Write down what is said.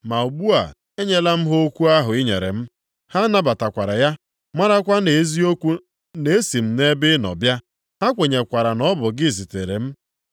Ma ugbu a, enyela m ha okwu ahụ i nyere m, ha nabatakwara ya, marakwa nʼeziokwu na-esi m nʼebe ị nọ bịa. Ha kwenyekwara na ọ bụ gị zitere m.